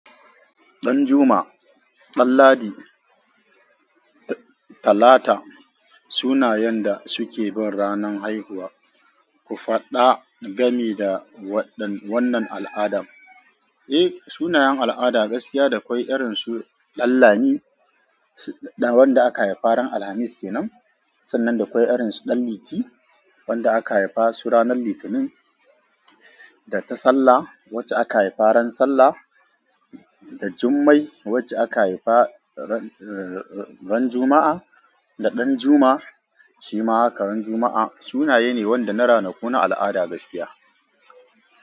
Ɗanjuma, Danladi, Talata sunayen da suke bin ranar haihuwa. Ku faɗa gami da wannan al'ada. Eh, sunayen al'ada gaskiya dakwai irin su Danlami, wanda aka haifa ran Alhamis kenan. Sannan dakwai irin su Ɗanliti, wanda aka haifa su ranan Litinin. Da Tasalla, wacce aka haifa ran Sallah. Da Jummai, wacce aka haifa ran Juma'a. Da Ɗanjuma shi ma haka ran Juma'a. Sunaye ne wanda na ranaku na al'ada gaskiya.